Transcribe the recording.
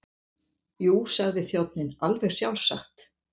Jú, sagði þjónninn, alveg sjálfsagt.